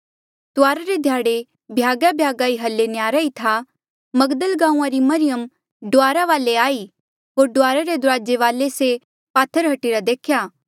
तुआरा रे ध्याड़े भ्यागाभ्यागा ई हल्ली न्हयारा ई था मगदल गांऊँआं री मरियम डुआरा वाले आई होर डुआरा रे दुराजे वाले ले से पात्थर हट्टीरा देख्या